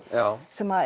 sem